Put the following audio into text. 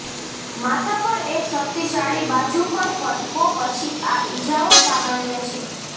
માથા પર એક શક્તિશાળી બાજુ પર ફટકો પછી આ ઇજાઓ સામાન્ય છે